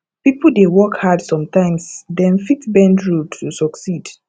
pipo dey work hard sometimes dem fit bend rule to succeed